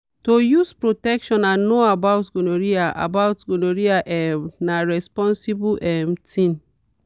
to use protection and know about gonorrhea about gonorrhea um na responsible um thing.